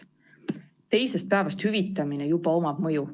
Teisest päevast hüvitamine juba omab mõju.